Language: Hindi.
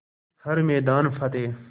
हर मैदान फ़तेह